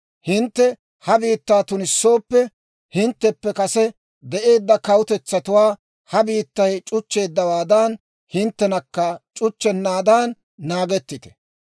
Hintte ha biittaa tunissooppe, hintteppe kase de'eedda kawutetsatuwaa ha biittay c'uchcheeddawaadan, hinttenakka c'uchchennaadan naagettite.